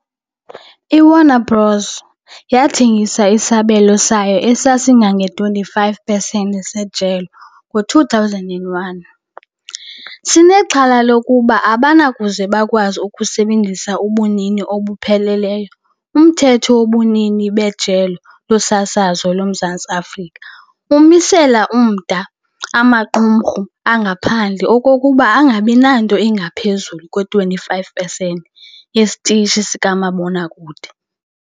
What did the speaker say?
I-Warner Bros. yathengisa Isabelo sayo esasingange-25 pesenti sejelo ngo-2001, sinexhala lokuba abanakuze bakwazi ukusebenzisa ubunini obupheleleyo - Umthetho wobunini bejelo losasazo loMzantsi Afrika umisela umda amaqumrhu angaphandle ukuba angabi nanto ingaphezulu kwe-25 pesenti yesitishi sikamabonakude.